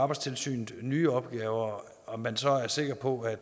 arbejdstilsynet nye opgaver og man så er sikker på at